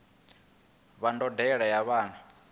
wa ndondolo ya vhana a